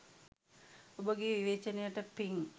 ඔබගේ විවේචනයට පින්